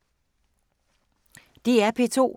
DR P2